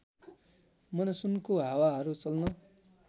मनसुनको हावाहरू चल्न